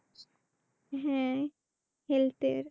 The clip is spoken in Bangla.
হ্যাঁ Health এর।